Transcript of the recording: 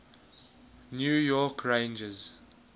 new york rangers